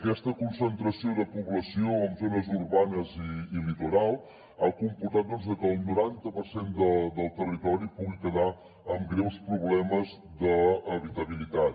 aquesta concentració de població en zones urbanes i litoral ha comportat doncs que el noranta per cent del territori pugui quedar amb greus problemes d’habitabilitat